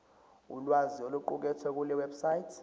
ulwazi oluqukethwe kulewebsite